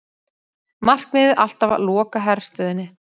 Markmiðið alltaf að loka herstöðinni